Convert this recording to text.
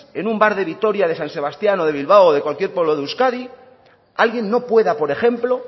en un bar de vitoria de san sebastián o de bilbao o de cualquier pueblo de euskadi alguien no pueda por ejemplo